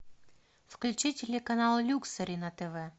включи телеканал люксори на тв